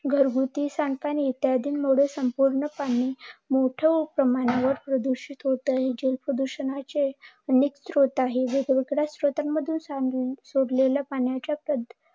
घरगुती सांडपाणी इत्यादींमुळे संपूर्ण पाणी मोठ्या प्रमाणावर प्रदूषित होत आहे. जल प्रदूषणाचे हे मुख्य स्त्रोत आहे. या स्त्रोत मधून सोडलेल्या पाण्याच्या